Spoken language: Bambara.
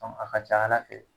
Dɔnku a ka ca ala fɛ